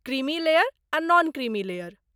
Creamy layer आ non creamy layer.